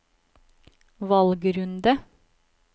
valgrunde